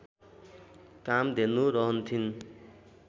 Kamdhenu रहन्थिन्